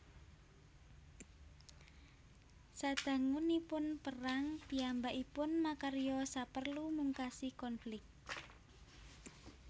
Sadangunipun perang piyambakipun makarya saperlu mungkasi konflik